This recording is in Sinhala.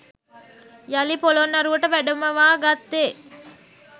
යළි පොළොන්නරුවට වැඩමවා ගත්තේ